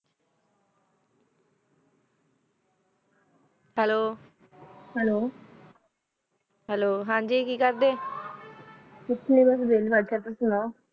hello hello hello ਹਾਂਜੀ ਕੇ ਕੇਰ ਦਿਨ ਕੁਛ ਨਾਈ ਬਾਸ ਵੈਲੀ ਬੇਟੀ ਤੁਸੀਂ ਸੁਨੋ